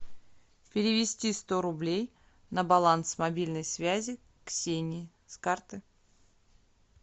перевести сто рублей на баланс мобильной связи ксении с карты